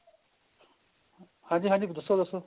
ਹਾਂਜੀ ਹਾਂਜੀ ਦੱਸੋ ਦੱਸੋ